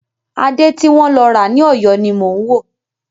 Adé ti wọ́n lọ ra ní Ọ̀yọ́ ni mò ń wò.